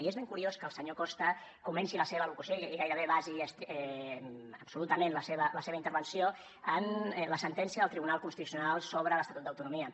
i és ben curiós que el senyor costa comenci la seva al·locució i gairebé basi absolutament la seva intervenció en la sentència del tribunal constitucional sobre l’estatut d’autonomia